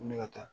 Ko ne ka taa